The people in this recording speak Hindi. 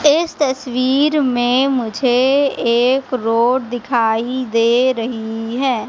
इस तस्वीर में मुझे एक रोड दिखाई दे रही है।